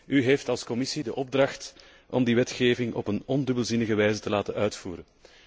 U heeft als Commissie de opdracht om die wetgeving op een ondubbelzinnige wijze te laten uitvoeren.